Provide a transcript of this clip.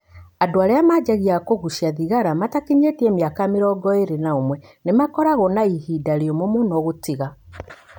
Andũ arĩa manjagia kũgucia thigara matakinyĩtie miaka mĩrongo ĩrĩ na ũmwe nĩ makoragwo na ihinda rĩumũ mũno gũtiga.